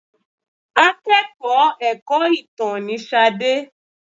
Akẹ́kọ̀ọ́ ẹ̀kọ́-ìtàn ni Ṣadé.